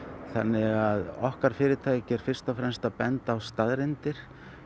þannig að okkar fyrirtæki er fyrst og fremst að benda á staðreyndir